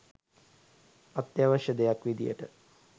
අත්‍යාවශ්‍ය දෙයක් විදියට